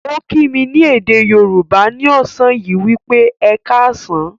Ó kí mí ní èdè Yorùbá ni ọ̀sán yìí wípé "Ẹ ká á sàn".